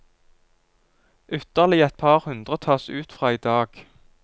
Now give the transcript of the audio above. Ytterligere et par hundre tas ut fra i dag.